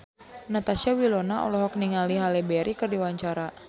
Natasha Wilona olohok ningali Halle Berry keur diwawancara